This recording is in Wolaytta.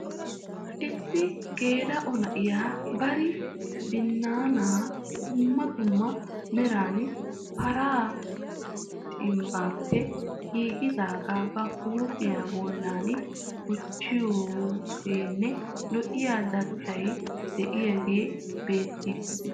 Issi geela'o na'iya bari binnaanaa dumma dumma meran paraa cimbbaappe giigidaagaa ba huuphiya bollan gujjoogenne lo''iya dadettay de'iyagee beettiiddi de'ees.